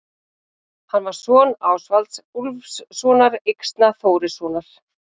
Hann var son Ásvalds Úlfssonar Yxna-Þórissonar.